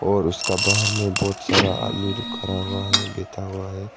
और उसका बाहर में बहुत सारा आदमी लोग खड़ा हुआ है बैठा हुआ है।